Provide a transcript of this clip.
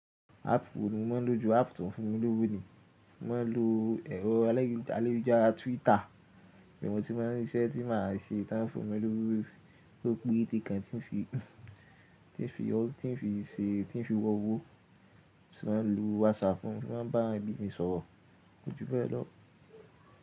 Áàpù mi mo ma ń lò ju àpá tòun fún mi lówó ni, mo ma ń lò ẹrọ ayélujára Twitter, èyí mo ti ma ń ríṣẹ́ tí màá ṣe tán fún mi lówó ló pérete kàn ti ń fi, tí ń fi, tí ń fi se, tí ń fi wọ́wọ́, mo sì ma ń lo WhatsApp, ohun mọ fi ma ń bá àwọn ẹbí mi sọ̀rọ̀, kojúbẹ̀ lọ́.